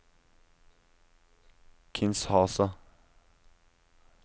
Kinshasa